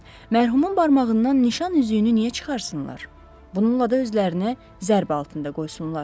mərhumun barmağından nişan üzüyünü niyə çıxarsınlar, bununla da özlərini zərb altında qoysunlar?